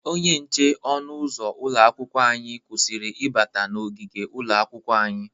Onye nche ọnụ ụzụ ụlọ akwụkwọ anyị kwụsịrị ịbata na ogigi ụlọakwụkwọ anyị.